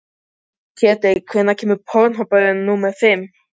Ketilbjörn, hvenær kemur strætó númer fimmtíu?